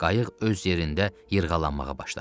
Qayıq öz yerində yırğalanmağa başladı.